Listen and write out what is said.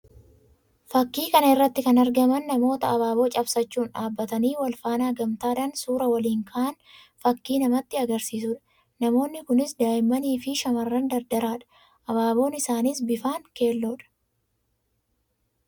Fakkii kan irratti kan argaman namoota abaaboo cabsachuun dhaabbatanii wal faana gamtaadhaan suuraa waliin ka'an fakkii namatti agarsiisuu dha. Namoonni kunis daa'immanii fi shamarran dardaraa dha. Abaaboon isaaniis bifaan keelloo dha.